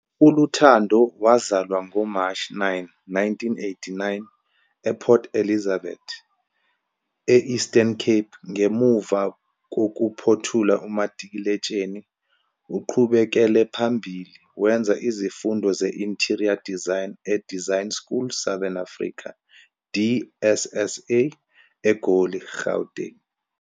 ULuthando wazalwa ngoMashi 9, 1989, ePort Elizabeth, e-Eastern Cape. Ngemuva kokuphothula umatikuletsheni uqhubekele phambili wenza izifundo ze-Interior Design e-Design School Southern Africa, DSSA, eGoli, eGauteng.